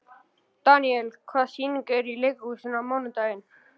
Daniel, hvaða sýningar eru í leikhúsinu á mánudaginn?